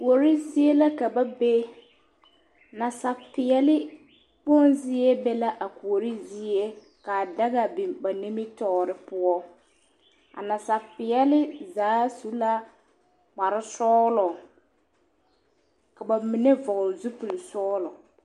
Kuori zie la ka ba be Nasapeɛle kpoŋ zie be la a kuori zie ka daga biŋ ba nimitɔɔre poɔ a nasapeɛle zaa su la kpar sɔɔlɔ ka back mine cɔgle zupile sɔɔlo